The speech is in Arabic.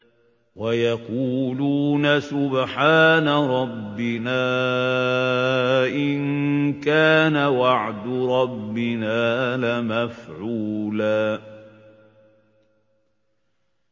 وَيَقُولُونَ سُبْحَانَ رَبِّنَا إِن كَانَ وَعْدُ رَبِّنَا لَمَفْعُولًا